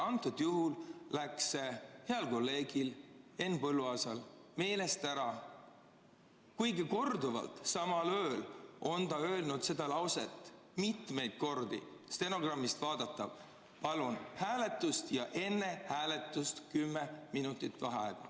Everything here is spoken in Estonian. Antud juhul läks see heal kolleegil Henn Põlluaasal meelest ära, kuigi samal ööl on ta öelnud seda lauset mitmeid kordi, stenogrammist võib vaadata: "Palun hääletust ja enne hääletust kümme minutit vaheaega.